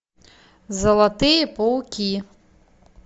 золотые пауки